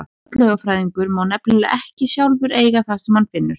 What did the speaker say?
Fornleifafræðingur má nefnilega ekki sjálfur eiga það sem hann finnur.